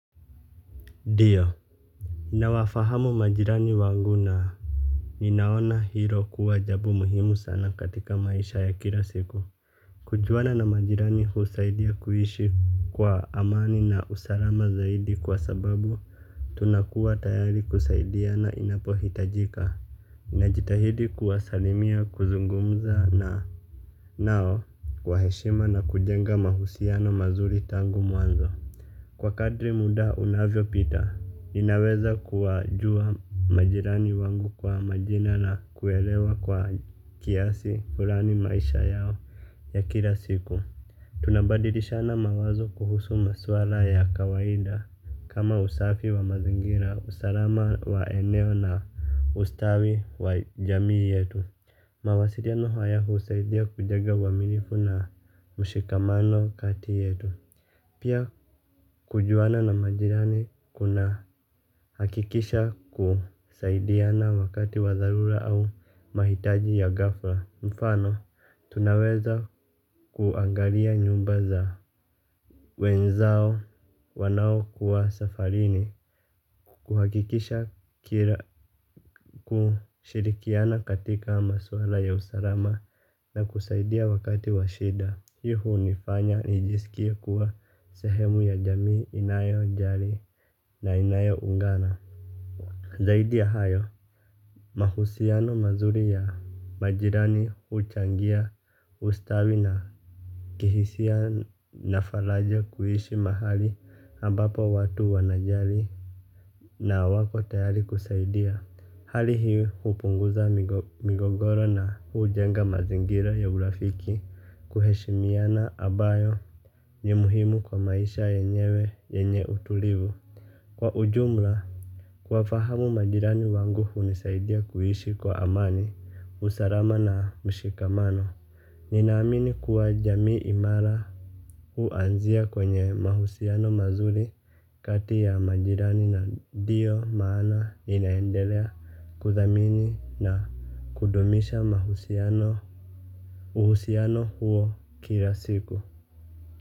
Ndio. Na wafahamu majirani wangu na ninaona hiro kuwa jabo muhimu sana katika maisha ya kila siku. Kujwana na majirani husaidia kuhishi kwa amani na usarama zaidi kwa sababu tunakuwa tayari kusaidiana inapo hitajika ninajitahidi kuwasalimia kuzungumza na nao kwa heshima na kujenga mahusiano mazuri tangu muanzo. Kwa kadri muda unavyo pita, ninaweza kuajua majirani wangu kwa majina na kuelewa kwa kiasi furani maisha yao ya kila siku, tunabadirishana mawazo kuhusu maswala ya kawaida. Kama usafi wa mazingira, usalama wa eneo na ustawi wa jamii yetu. Mawasiriano haya huusaidia kujega waminifu na mshikamano kati yetu. Pia kujuana na majirani kuna hakikisha kusaidiana wakati wa thalura au mahitaji ya gafla. Mfano tunaweza kuangalia nyumba za wenzao wanao kuwa safarini. Kuhakikisha kushirikiana katika maswala ya usarama na kusaidia wakati wa shida. Hi hunifanya nijisikie kuwa sehemu ya jami inayo jari na inayo ungana. Zaidi ya hayo. Mahusiano mazuri ya majirani uchangia ustawi na kihisia na falaja kuhishi mahali hambapo watu wanajali. Na wako tayari kusaidia. Hali hii upunguza migogoro na hujenga mazingira ya urafiki. Kuheshimiana ambayo ni muhimu kwa maisha yenyewe yenye utulivu. Kwa ujumla. Kwa fahamu majirani wangu unisaidia kuhishi kwa amani, usarama na mshikamano. Ninaamini kuwa jamii imara. Uanzia kwenye mahusiano mazuri kati ya majirani na ndio maana ninahendelea kuthamini na kudumisha uhusiano huo kila siku.